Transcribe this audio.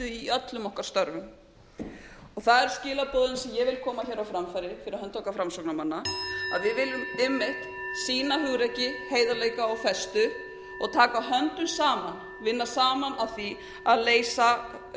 í öllum okkar störfum það eru skilaboðin sem ég vil koma hér á framfæri fyrir hönd okkar framsóknarmanna að við viljum einmitt sýna hugrekki heiðarleika og festu og taka höndum saman vinna saman að því